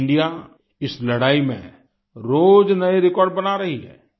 team India इस लड़ाई में रोज नए रिकॉर्ड बना रही है